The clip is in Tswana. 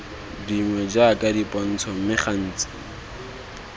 dingwe jaaka dipontsho mme gantsi